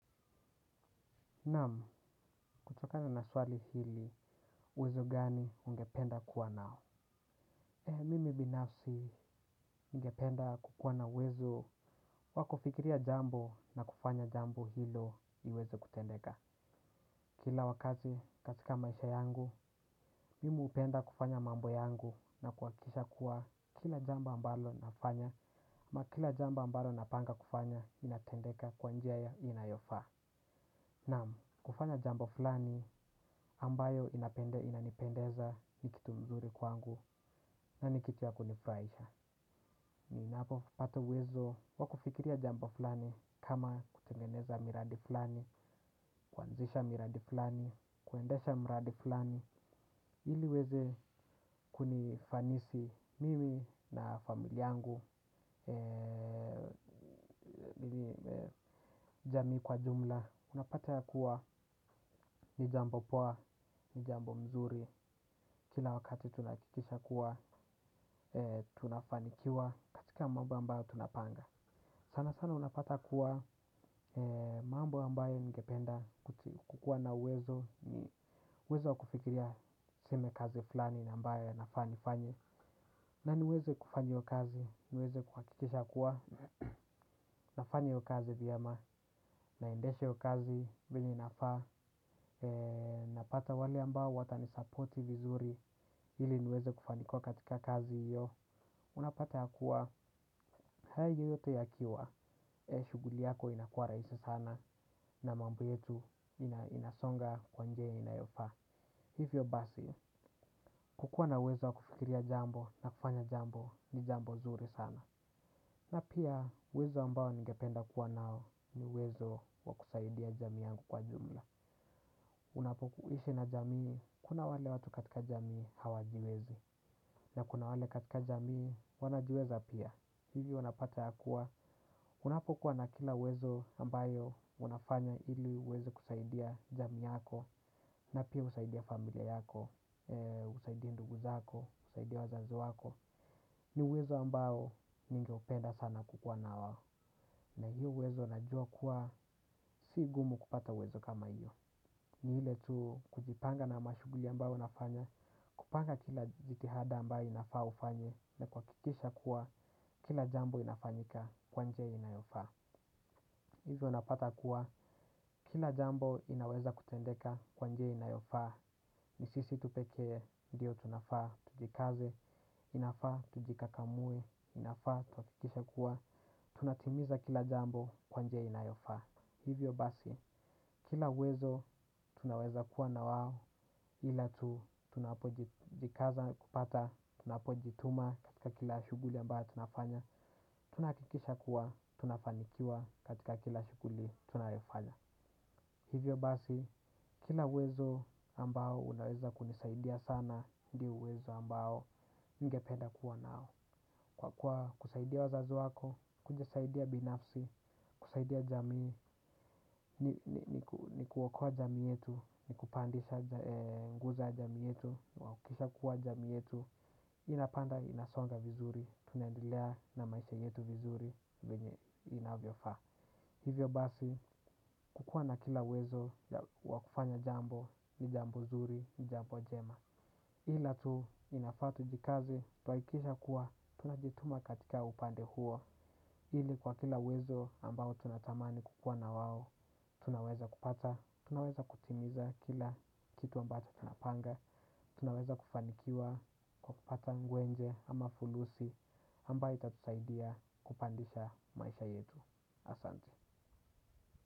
Namu, kutokana na swali hili, uwezo gani ungependa kuwa nao? E, mimi binafsi ningependa kukuwa na uwezo wakufikiria jambo na kufanya jambo hilo iweze kutendeka. Kila wakati katika maisha yangu, mimi upenda kufanya mambo yangu na kuwakisha kuwa kila jambo ambalo nafanya, ama kila jambo ambalo napanga kufanya inatendeka kwanjia ya inayofa. Nam, kufanya jambo fulani ambayo inanipendeza nikitu mzuri kwangu nanikitu ya kunifraisha. Ninapo pata uwezo wakufikiria jambo fulani, kama kutengeneza miradi fulani, kuanzisha miradi fulani, kuendesha miradi fulani, ili uweze kunifanisi mimi na familia yangu. Jamii kwa jumla. Unapata yakuwa ni jambo poa, ni jambo mzuri. Kila wakati tunahakikisha kuwa, tunafanikiwa katika mambo ambayo tunapanga. Sana sana unapata kuwa, mambo ambayo ningependa kukuwa na uwezo, uwezo wakufikiria tuseme kazi fulani ambayo nafaa nifanye. Na niweze kufanya hiyo kazi, niweze kuhakikisha kuwa nafanya hiyo kazi vyema. Naendeshe hiyo kazi vile inafaa. Napata wale ambao watanisapoti vizuri. Iliniweze kufanikuwa katika kazi hiyo, unapata ya kuwa. Hayo yote yakiwa. Shughuli yako inakua rahisi sana na mambo yetu inasonga kwa njia inayofaa. Hivyo basi. Kukuwa na uwezo wa kufikiria jambo, na kufanya jambo, ni jambo zuri sana. Na pia uwezo ambao ningependa kuwa nao, ni uwezo wa kusaidia jamii yangu kwa jumla. Unapoishi na jamii, kuna wale watu katika jamii hawajiwezi. Na kuna wale katika jamii wanajiweza pia. Hili wanapata ya kuwa, unapokuwa na kila uwezo ambayo unafanya ili uweze kusaidia jamii yako. Na pia husaidia familia yako, husaidia ndugu zako, husaidia wazazi wako. Ni uwezo ambao ningeupenda sana kukuwa nao na hiyo uwezo najua kuwa si gumu kupata uwezo kama huo. Ni ile tu kujipanga na shughuli ambayo nafanya. Kupanga kila jitihada ambayo inafaa ufanye na kuhakikisha kuwa, kila jambo inafanyika kwa njia inayofaa. Hivyo napata kuwa, kila jambo inaweza kutendeka kwa njia inayofaa. Ni sisi tu pekee, ndio tunafaa, tujikaze, inafaa tujikakamue, inafaa, tuhakikishe kuwa tunatimiza kila jambo kwa njia inayofaa. Hivyo basi, kila uwezo, tunaweza kuwa na wao ila tu, tunapojikaza kupata, tunapojituma katika kila shughuli ambayo tunafanya. Tunahakikisha kuwa, tunafanikiwa katika kila shughuli tunayofanya. Hivyo basi, kila uwezo ambao unaweza kunisaidia sana, ndio uwezo ambao ningependa kuwa nao. Kwa kuwa kusaidia wazazi wako, kujisaidia binafsi, kusaidia jamii. Ni kuokoa jamii yetu, ni kupandisha nguzo ya jamii yetu, kuhakikisha kuwa jamii yetu inapanda, inasonga vizuri. Tunaendelea na maisha yetu vizuri venye inavyofaa. Hivyo basi, kukua na kila uwezo wa kufanya jambo, ni jambo nzuri, ni jambo jema. Ila tu inafaa tujikaze, tuhakikishe kuwa, tunajituma katika upande huo. Ili kwa kila uwezo ambao tunatamani kukua na wao, tunaweza kupata, tunaweza kutimiza kila kitu ambacho tunapanga. Tunaweza kufanikiwa kwa kupata ngwenje ama fulusi ambayo itatusaidia kupandisha maisha yetu. Asante.